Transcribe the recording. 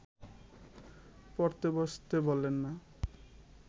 পড়তে বসতে বলেন না